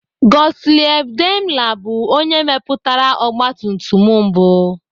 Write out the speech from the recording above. Gottlieb Daimler bụ onye mepụtara ọgbatumtum mbụ.